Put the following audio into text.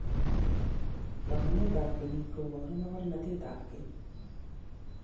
Taonitap kenyis kuiporu mokornotetap keny.